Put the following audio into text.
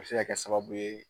A be se ka kɛ sababu ye